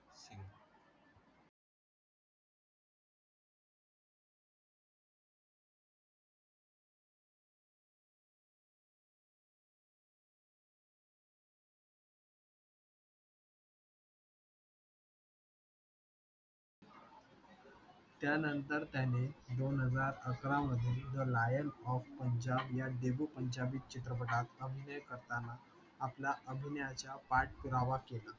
त्यानंतर त्यानेदोन हजार अकरा मध्ये द लायन ऑफ पंजाब या देहू पंजाबी चित्रपटात अभिनय करताना आपल्या अभिनयाचा पाठ पुरावा केला